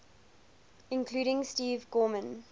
including steve gorman